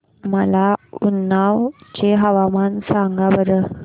मला उन्नाव चे हवामान सांगा बरं